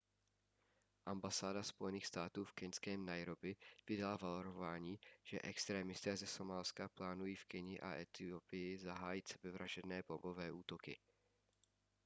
ambasáda spojených států v keňském nairobi vydala varování že extrémisté ze somálska plánují v keni a etiopii zahájit sebevražedné bombové útoky